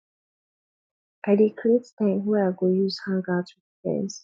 i dey create time wey i go use hangout wit friends